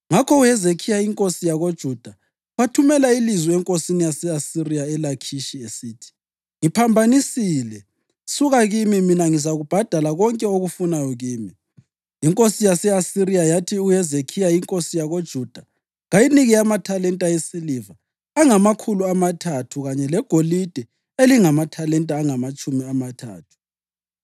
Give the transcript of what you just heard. Ngakho uHezekhiya inkosi yakoJuda wathumela ilizwi enkosini yase-Asiriya eLakhishi esithi, “Ngiphambanisile. Suka kimi, mina ngizakubhadala konke okufunayo kimi.” Inkosi yase-Asiriya yathi uHezekhiya inkosi yakoJuda kayinike amathalenta esiliva angamakhulu amathathu kanye legolide elingamathalenta angamatshumi amathathu.